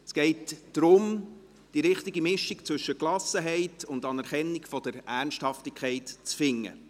Es geht darum, die richtige Mischung zwischen Gelassenheit und Anerkennung der Ernsthaftigkeit zu finden.